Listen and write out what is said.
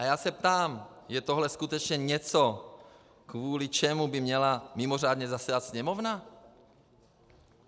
A já se ptám: Je tohle skutečně něco, kvůli čemu by měla mimořádně zasedat Sněmovna?